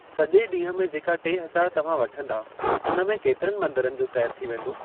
सॼे ॾींहं में जेका टे हज़ार तव्हां वठंदा, उन में केतिरनि मंदरनि जो सैर थी वेंदो?